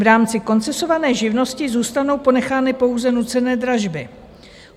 V rámci koncesované živnosti zůstanou ponechány pouze nucené dražby.